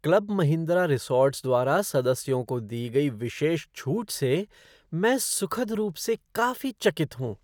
Club Mahindra resorts द्वारा सदस्यों को दी गई विशेष छूट से मैं सुखद रूप से काफी चकित हूँ।